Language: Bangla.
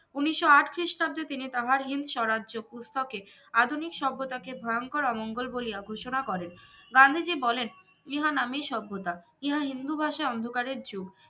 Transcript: উনিস্য আট খ্রিস্টাব্দে তিনি তাহার হিন্দস্বরাজ্য পুস্তকে আধুনিক সভ্যতাকে ভয়ঙ্কর অমঙ্গল বলিয়া ঘোষণা করেন গান্ধীজি বলেন ইহা নামে সভ্যতা ইহা হিন্দু ভাষা অন্ধকারের যুগ